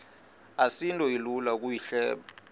asinto ilula ukuyihleba